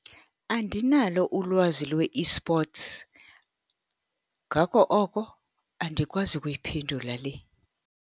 Andinalo ulwazi lwe-esports. Ngako oko andikwazi ukuyiphendula le.